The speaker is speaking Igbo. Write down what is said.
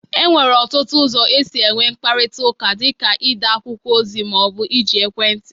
E nwere ọtụtụ ụzọ esi enwe mkparịtaụka. dị ka ide akwụkwọ ozi ma ọ bụ iji ekwentị.